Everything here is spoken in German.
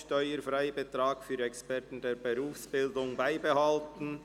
«Steuerfreibetrag für Experten der Berufsbildung beibehalten».